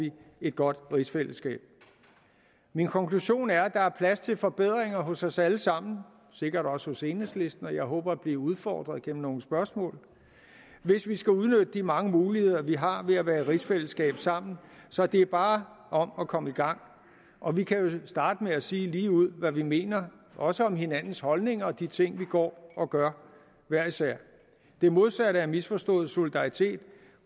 et godt rigsfællesskab min konklusion er at der er plads til forbedringer hos os alle sammen sikkert også hos enhedslisten og jeg håber at blive udfordret gennem nogle spørgsmål hvis vi skal udnytte de mange muligheder vi har ved at være i rigsfællesskab sammen så det er bare om at komme i gang og vi kan jo starte med at sige ligeud hvad vi mener også om hinandens holdninger og de ting vi går og gør hver især det modsatte er misforstået solidaritet